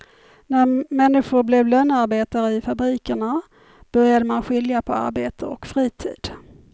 När människor blev lönearbetare i fabrikerna började man skilja på arbete och fritid.